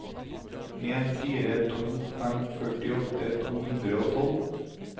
en fire to fem førtiåtte to hundre og tolv